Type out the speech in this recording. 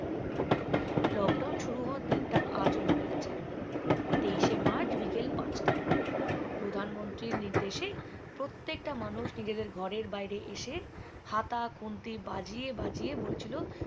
lockdown শুরু হওয়ার দিন টা আজও মনে আছে তেইশে মার্চ বিকেল পাঁচটা প্রধানমন্ত্রীর নির্দেশে প্রত্যেকটা মানুষ নিজেদের ঘরের বাইরে এসে হাতা খুন্তি বাজিয়ে বাজিয়ে বলেছিলো